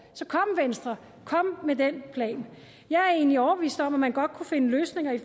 så kom venstre kom med den plan jeg er egentlig overbevist om at man godt kunne finde løsninger